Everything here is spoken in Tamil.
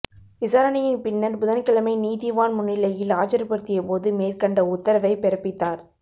விசாரணையின் பின்னர் புதன்கிழமை நீதிவான் முன்னிலையில் ஆஜர்படுத்தியபோது மேற்கண்ட உத்தரவைப் பிறப்பித்தார்